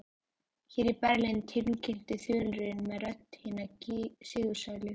Hér er Berlín tilkynnti þulurinn með rödd hinna sigursælu.